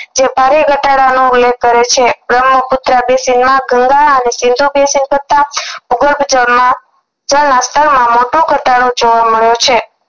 જે પારી ઘટાડોનો ઉલ્લેખ કરે છે બ્રહ્મપુત્રા માં બેસિન માં ગંગા અને ભૂગર્ભજળમાં જળના સ્તર માં મોટો ઘટાડો જોવા મળ્યો છે